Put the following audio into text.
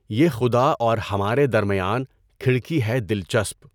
یہ خُدا اور ہمارے درمیان کھڑکی ہے دلچسپ!